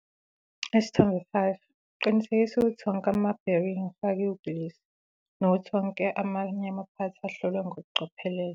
Isithombe 5- Qinisekisa ukuthi onke ama-bearing afakiwe ugilisi, nokuthi onke amanye amaphathi ahlolwe kokucophelela.